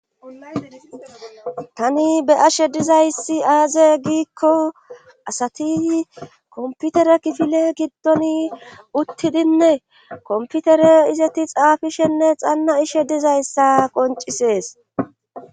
tani be ashe dizayssi aaze giikko asati komputere kifile giddon uttidinne komputere izeti xaafishenne xanna ishe dizayssa qoncisees